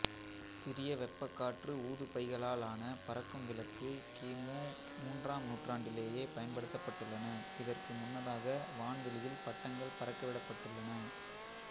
சிறிய வெப்பக்காற்று ஊதுபைகளாலான பறக்கும் விளக்கு கிமு மூன்றாம் நூற்றாண்டிலேயே பயன்படுத்தப்பட்டுள்ளன இதற்கும் முன்னதாக வான்வெளியில் பட்டங்கள் பறக்கவிடப்பட்டுள்ளன